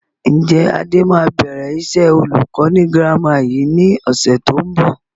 Ǹjẹ́ Adé máa bẹ̀rẹ̀ iṣẹ́ olùkọ́ ni girama yìí ni ọ̀sẹ̀ tó ń bọ̀?